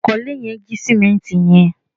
onkole yen ji simenti yen